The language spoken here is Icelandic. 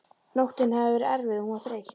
Nóttin hafði verið erfið og hún var þreytt.